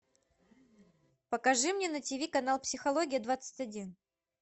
покажи мне на тв канал психология двадцать один